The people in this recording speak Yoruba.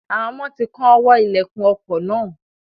Àwọn ọmọ ti kán ọwọ́ ìlẹ̀kùn ọkọ̀ náà.